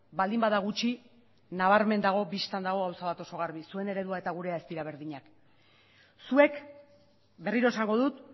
baldin bada gutxi nabarmen dago bistan dago gauza bat oso garbi zuen eredua eta gurea ez dira berdinak zuek berriro esango dut